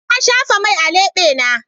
Na shafa mai a lebena.